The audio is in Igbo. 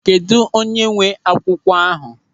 Kedụ onye nwee akwụkwọ ahụ?